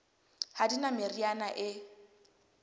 ha di na meriana e